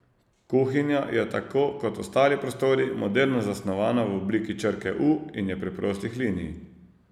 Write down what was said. Kuhinja je tako kot ostali prostori moderno zasnovana v obliki črke U in je preprostih linij.